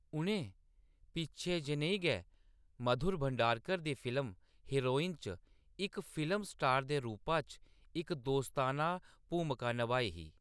उʼनें पिच्छें जनेही गै मधुर भंडारकर दी फिल्म हीरोइन च इक फिल्म स्टार दे रूपा च इक दोस्ताना भूमका नभाई ही।